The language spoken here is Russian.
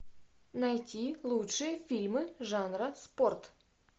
найти лучшие фильмы жанра спорт